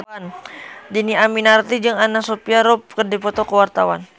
Dhini Aminarti jeung Anna Sophia Robb keur dipoto ku wartawan